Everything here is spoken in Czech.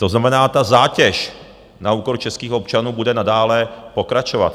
To znamená, ta zátěž na úkor českých občanů bude nadále pokračovat.